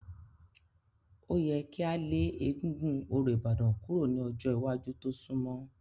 Ó yẹ kí a lé egúngún orò Ìbàdàn kúrò ní ọjọ́ iwájú tó sunmọ́.